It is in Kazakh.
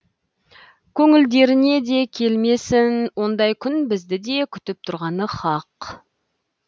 көңілдеріне де келмесін ондай күн бізді де күтіп тұрғаны хақ